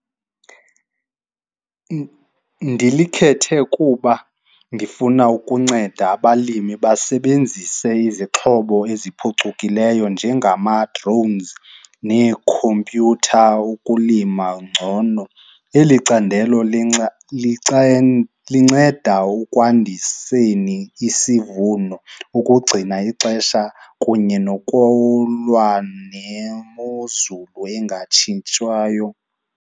Ndilikhethe kuba ndifuna ukunceda abalimi basebenzise izixhobo eziphucukileyo njengama-drones neekhompyutha ukulima ngcono. Eli candelo linceda ukwandisweni isivuno ukugcina ixesha kunye nokulwa nemozulu engatshintshwayo.